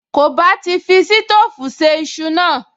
Kò bá ti fi sítóòfù se iṣu náà